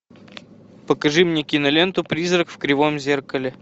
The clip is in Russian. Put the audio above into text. покажи мне киноленту призрак в кривом зеркале